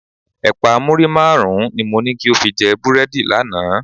Ẹ̀pà muri márùn-ún ni mo ní kí o fi jẹ búrẹ́dì lánàá.